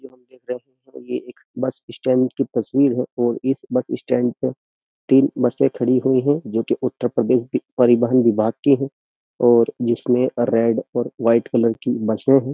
ये एक bus stand की तस्वीर है और इस बस स्टैंड पर तीन बसें खड़ी हुई हैं जो कि उत्तर प्रदेश परिवहन विभाग की है और जिसमें रेड और वाइट कलर की बसें हैं।